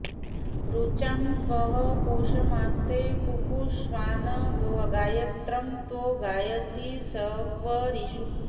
ऋ॒चां त्वः॒ पोष॑मास्ते पुपु॒ष्वान् गा॑य॒त्रं त्वो॑ गायति॒ शक्व॑रीषु